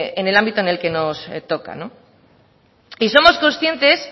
en el ámbito en el que nos toca y somos conscientes